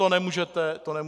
To nemůžete popřít.